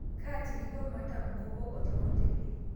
Kaatiriko matam nkoko teoteli